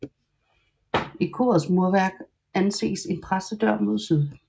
I korets murværk anes en præstedør mod syd